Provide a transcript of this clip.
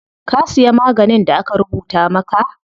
Ka siya maganin da aka rubuta maka?